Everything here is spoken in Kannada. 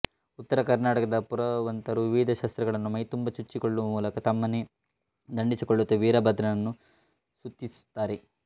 ಉತ್ತರ ಕರ್ನಾಟಕದ ಪುರವಂತರು ವಿವಿಧ ಶಸ್ತ್ರಗಳನ್ನು ಮೈತುಂಬ ಚುಚ್ಚಿಕೊಳ್ಳುವ ಮೂಲಕ ತಮ್ಮನ್ನೇ ದಂಡಿಸಿಕೊಳ್ಳುತ್ತಾ ವೀರಭದ್ರನನ್ನು ಸ್ತುತಿಸುತ್ತಾರೆ